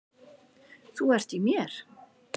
Þú ert í mér.